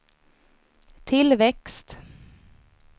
tillväxt